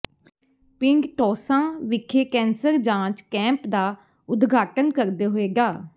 ਪਿੰਡ ਟੌਸਾਂ ਵਿਖੇ ਕੈਂਸਰ ਜਾਂਚ ਕੈਂਪ ਦਾ ਉਦਘਾਟਨ ਕਰਦੇ ਹੋਏ ਡਾ